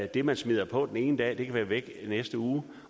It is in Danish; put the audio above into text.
det man smider på den ene dag kan være væk i næste uge